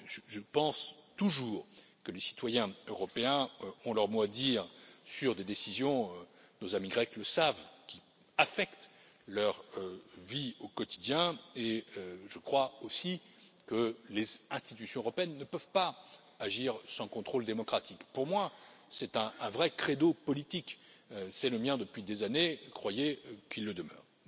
Je pense toujours que les citoyens européens ont leur mot à dire sur des décisions nos amis grecs le savent qui affectent leur vie au quotidien, et je crois aussi que les institutions européennes ne peuvent pas agir sans contrôle démocratique. Pour moi, c'est un vrai credo politique, c'est le mien depuis des années, croyez qu'il le demeure.